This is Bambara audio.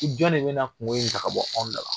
jɔn de bɛ na kungo in ta ka bɔ anw da la.